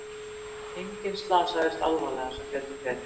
Enginn slasaðist alvarlega sem betur fer